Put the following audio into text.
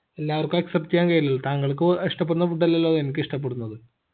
എല്ലാർക്കും accept ചെയ്യാൻ കഴിയില്ലല്ലോ താങ്കൾക്കു ഇഷ്ട്ടപ്പെടുന്ന food അല്ലല്ലോ എനിക്ക് ഇഷ്ടപ്പെടുന്നത്